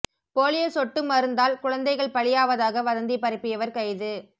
polio சொட்டு மருந்தால் குழந்தைகள் பலியாவதாக வதந்தி பரப்பியவர் கைது